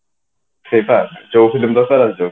ସେଇଟା ରେ ରହୁଛେ